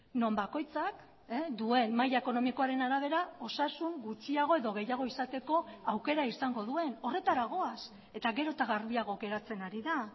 non bakoitzak duen maila ekonomikoaren arabera osasun gutxiago edo gehiago izateko aukera izango duen horretara goaz eta gero eta garbiago geratzen ari da